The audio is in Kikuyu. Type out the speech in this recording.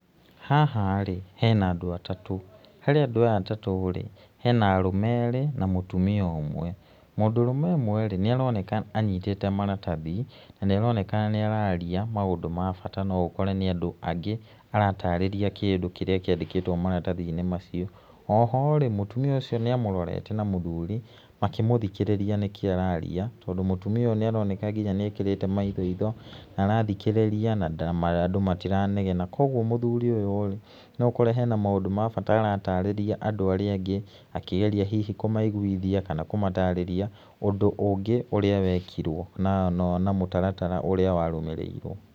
Haha rĩ hena andũ atatũ, harĩ andũ aya atatũ hena arũme erĩ na mũtumia ũmwe , mũndũrume ũmwe nĩaroneka anyitĩte maratathi na nĩaronekana nĩararia maũndũ ma bata no ũkore nĩ andũ angĩ aratarĩria kĩndũ kĩrĩa kĩandĩkĩtwo maratathi-inĩ macio. Oho rĩ mũtumia ũcio nĩamũrorete na mũthuri makĩmũthikĩrĩria nĩkĩ araria tondũ mũtumia ũyũ nĩaroneka nĩekĩrĩte maithoitho na arathikĩrĩria na andũ matiranegena kwoguo mũthuri ũyũ rĩ no ũkore hena maũndũ ma bata aratarĩria andũ arĩa angĩ akĩgeria hihi kũmaiguithia kana kũmatarĩria ũndũ ũngĩ ũrĩa wekirwo na mũtaratara ũria warũmĩrĩirwo.